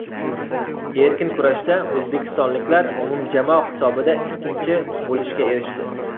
Erkin kurashda o‘zbekistonliklar umumjamoa hisobida ikkinchi bo‘lishga erishdi.